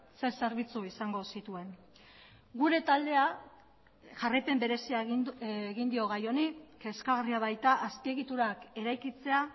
ze zerbitzu izango zituen gure taldea jarraipen berezia egin dio gai honi kezkagarria baita azpiegiturak eraikitzea